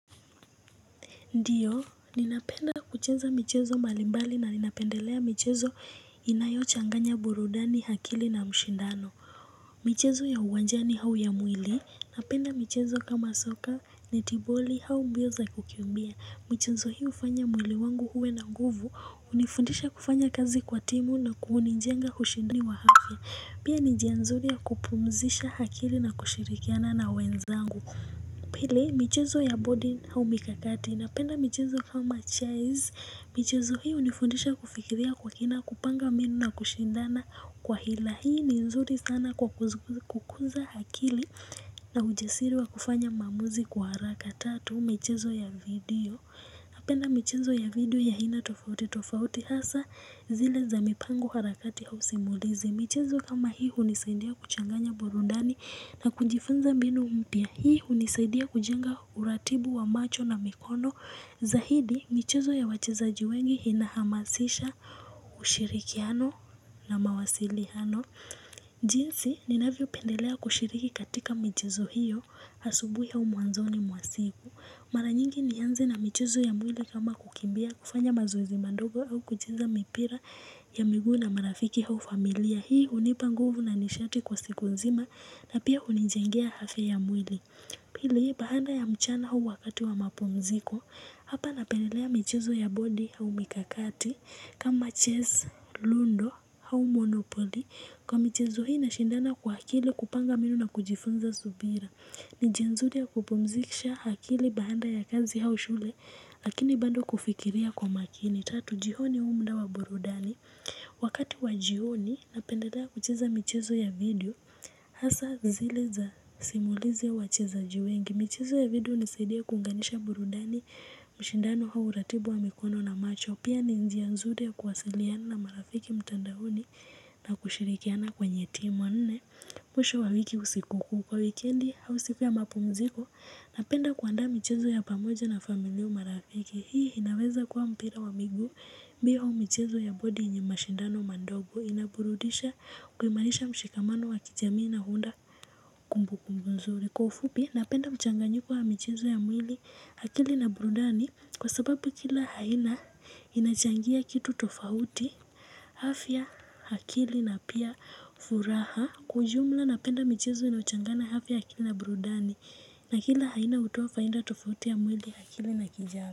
Ndiyo ninapenda kucheza michezo mbalimbali na ninapendelea michezo inayochanganya burudani hakili na mshindano michezo ya uwanjani hau ya mwili napenda michezo kama soka netiboli hau mbio za kukimbia michezo hii ufanya mwili wangu huwe na nguvu hunifundisha kufanya kazi kwa timu na ku huninjenga hushindani wa hafya pia ni njia nzuri ya kupumzisha hakili na kushirikiana na wenzangu. Pili michezo ya bodi hau mikakati napenda michezo kama chezz. Michezo hii hunifundisha kufikiria kwa kina kupanga mbinu na kushindana kwa hila. Hii ni nzuri sana kwa kukuza hakili na ujesiri wa kufanya maamuzi kwa haraka. Tatu michezo ya video napenda michezo ya video ya hina tofauti. Tofauti hasa zile za mipango harakati hau simulizi. Michezo kama hii hunisaindia kuchanganya burundani na kujifunza mbinu mpya. Hii hunisaidia kujenga uratibu wa macho na mikono. Zahidi, michezo ya wachezaji wengi inahamasisha ushirikiano na mawasilihano. Jinsi, ninavyopendelea kushiriki katika michezo hiyo asubui au mwanzoni mwa siku. Maranyingi nianze na michezo ya mwili kama kukimbia kufanya mazoezi mandogo au kucheza mipira ya miguu na marafiki hau familia. Hii hunipa nguvu na nishati kwa siku nzima na pia hunijengea hafya ya mwili. Pili, bahanda ya mchana huu wakati wa mapumziko, hapa napendelea michezo ya bodi au mikakati, kama chess, lundo hau monopoli. Kwa michezo hii nashindana kwa hakili kupanga mbinu na kujifunza subira. Ni njia nzuli ya kupumzikisha hakili bahanda ya kazi hau shule, lakini bando kufikiria kwa makini. Tatu, jihoni huu mda wa burudani. Wakati wa jioni, napendelea kucheza michezo ya video. Hasa zile za simulizi ya wachezaji wengi. Michezo ya video unisaidia kuunganisha burudani mshindano hau uratibu wa mikono na macho. Pia ni njia nzuli ya kuwasiliana na marafiki mtandaoni na kushirikiana kwenye team wa nne. Mwisho wa wiki au sikukuu kwa wikendi hau siku ya mapumziko napenda kuandaa michezo ya pamoja na familia au marafiki hii inaweza kuwa mpira wa miguu mbio hau michezo ya bodi yenye mashindano mandogo inaburudisha kuimalisha mshikamano wa kijamii na huunda kumbukumbu nzuri. Kwa ufupi napenda mchanganyiko wa michezo ya mwili hakili na burudani kwa sababu kila haina inachangia kitu tofauti hafya hakili na pia furaha kwa ujumla napenda michezo inayochangana hafya ya akili na burudani na kila haina hutoa fainda tofauti ya mwili hakili na kijami.